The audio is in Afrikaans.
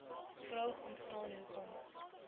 vraag ontstaan hoekom